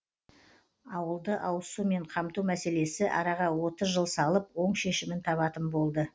ауылды ауызсумен қамту мәселесі араға отыз жыл салып оң шешімін табатын болды